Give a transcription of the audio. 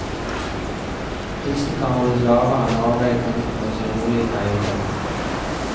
Prisene kan holdes lavere når arbeidet kan utføres i rolige perioder.